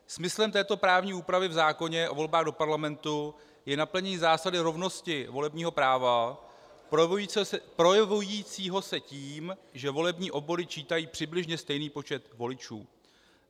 Smyslem této právní úpravy v zákoně o volbách do Parlamentu je naplnění zásady rovnosti volebního práva projevující se tím, že volební obvody čítají přibližně stejný počet voličů.